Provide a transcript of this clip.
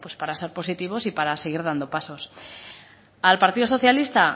para ser positivos y para seguir dando pasos al partido socialista